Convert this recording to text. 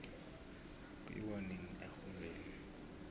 kuyiwo nini exholweni